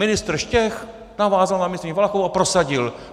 Ministr Štech navázal na ministryni Valachovou a prosadil.